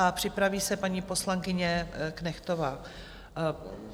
A připraví se paní poslankyně Knechtová.